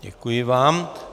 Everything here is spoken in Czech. Děkuji vám.